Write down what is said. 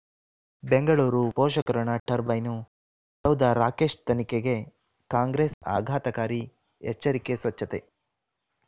ಬೆಂಗಳೂರು ಪೋಷಕ ಋಣ ಟರ್ಬೈನು ಸೌಧ ರಾಕೇಶ್ ತನಿಖೆಗೆ ಕಾಂಗ್ರೆಸ್ ಆಘಾತಕಾರಿ ಎಚ್ಚರಿಕೆ ಸ್ವಚ್ಛತೆ